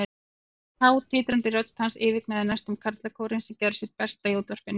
Há, titrandi rödd hans yfirgnæfði næstum karlakórinn, sem gerði sitt besta í útvarpinu.